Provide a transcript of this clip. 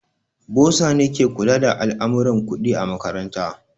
Bosa ne ke kula da al'amurran kuɗi a makaranta.